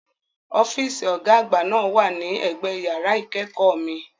Ọ́fíìsì Ọ̀gá àgbà náà wà ní ẹ̀gbẹ yàrá ìkẹ́kọ̀ọ́ mi